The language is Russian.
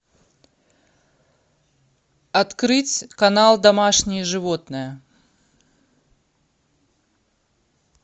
открыть канал домашние животные